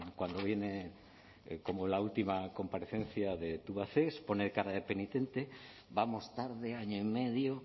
cuando viene como la última comparecencia de tubacex pone cara de penitente vamos tarde año y medio